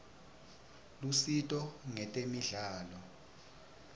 lusito ngetemidlalo